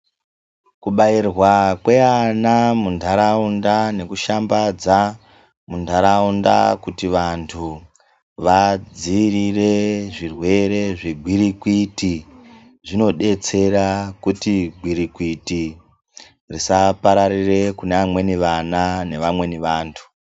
Kubairwa kweana muntaraunda nekushambadza muntaraunda kuti vantu vadziirire zvirwere zvegwirigwiti, zvino detsera kuti gwirikwiti risa pararire kune vamweni ana nevamweni vantu.